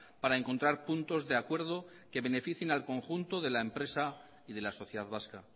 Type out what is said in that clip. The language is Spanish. para encontrar puntos de acuerdo que beneficien al conjunto de la empresa y de la sociedad vasca